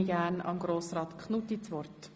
Gerne erteile ich Grossrat Knutti das Wort.